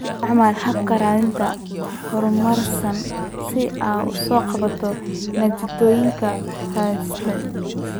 Isticmaal habka raadinta horumarsan si aad u soo koobto natiijooyinka raadintaada.